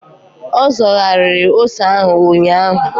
Ọ zọgharịrị ose ahụ ụnyaahụ.